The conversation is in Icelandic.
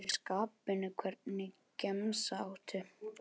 Allt mögulegt, fer eftir skapinu Hvernig gemsa áttu?